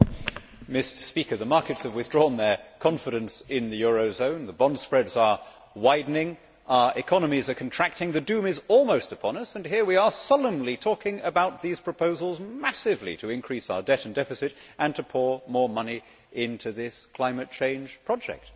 Mr President, the markets have withdrawn their confidence in the eurozone, the bond spreads are widening, our economies are contracting, the Doom is almost upon us and here we are solemnly talking about these proposals massively to increase our debt and deficit and pour more money into this climate change project.